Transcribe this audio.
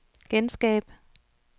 genskab